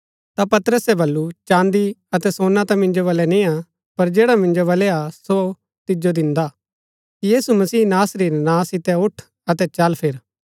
ता पतरसे बल्लू चाँदी अतै सोना ता मिन्जो बलै निय्आ पर जैडा मिन्जो बलै हा सो तिजो दिन्दा यीशु मसीह नासरी रै नां सितै उठ अतै चल फिर